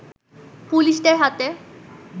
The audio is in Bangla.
পুলিশদের হাতে